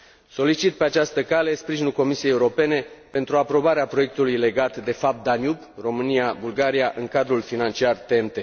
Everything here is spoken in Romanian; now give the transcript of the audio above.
Solicit, pe această cale, sprijinul Comisiei Europene pentru aprobarea proiectului legat de FAB Danube România Bulgaria în cadrul financiar TEN T.